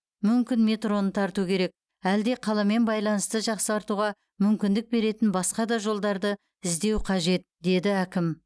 мүмкін метроны тарту керек әлде қаламен байланысты жақсартуға мүмкіндік беретін басқа да жолдарды іздеу қажет деді әкім